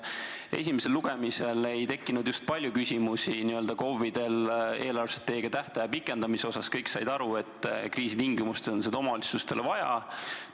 Sest esimesel lugemisel ei tekkinud KOV-idel just palju küsimusi eelarvestrateegia tähtaja pikendamise kohta, kõik said aru, et kriisitingimustes on seda omavalitsustele vaja.